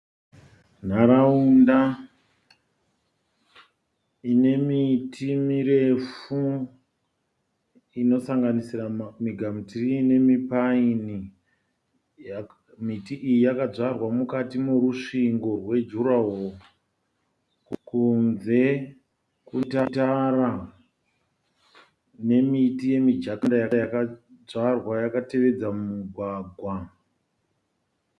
Nharaunda inemiti mirefu inosanganisira migamutirii nemipaini. Miti iyi yakadyarwa mukati merusvingo rwejuraworo kunze kwetara inemiti yemijakaranda yakadzvarwa yakatevedza mugwagwa.